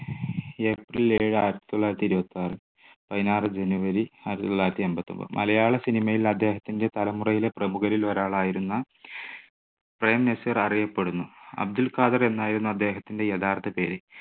April ഏഴ് ആയിരത്തി തൊള്ളായിരത്തി ഇരുപത്താറ്, പതിനാറ് January ആയിരത്തി തൊള്ളായിരത്തി എൺപത്തൊൻപത്. മലയാള cinema യിൽ അദ്ദേഹത്തിന്റെ തലമുറയിലെ പ്രമുഖരിൽ ഒരാളായിരുന്ന പ്രേംനസീർ അറിയപ്പെടുന്നു. അബ്ദുൾ ഖാദർ എന്നായിരുന്നു അദ്ദേഹത്തിന്റെ യഥാർത്ഥ പേര്.